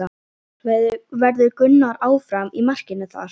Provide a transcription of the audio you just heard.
Verður Gunnar áfram í markinu þar?